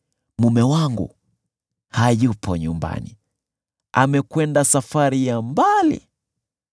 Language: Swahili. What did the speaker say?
Mume wangu hayupo nyumbani; amekwenda safari ya mbali.